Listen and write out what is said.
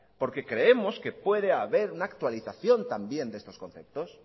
porque creemos que puede haber una actualización también de estos conceptos